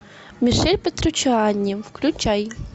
мишель петруччиани включай